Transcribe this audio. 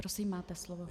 Prosím, máte slovo.